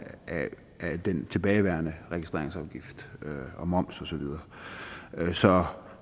den tilbageværende registreringsafgift moms og så videre så